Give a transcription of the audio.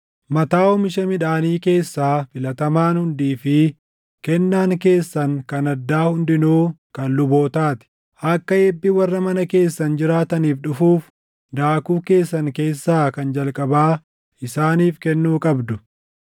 Mataa oomisha midhaanii keessaa filatamaan hundii fi kennaan keessan kan addaa hundinuu kan lubootaa ti. Akka eebbi warra mana keessan jiraataniif dhufuuf, daakuu keessan keessaa kan jalqabaa isaaniif kennuu qabdu.